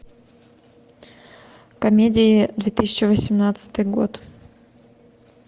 комедия две тысячи восемнадцатый год